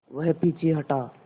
वह पीछे हटा